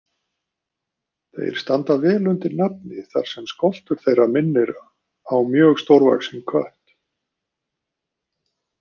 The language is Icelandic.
Þeir standa vel undir nafni þar sem skoltur þeirra minnir mjög stórvaxinn kött.